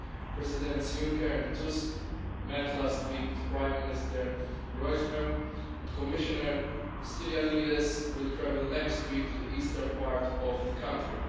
Presidents Juncker and Tusk met last week with Prime Minister Groysman and Commissioner Stylianides will travel next week to the eastern part of the country.